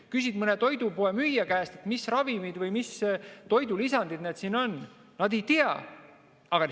Kui küsid mõne toidupoemüüja käest, mis ravimid või mis toidulisandid need siin on, siis nad ei tea.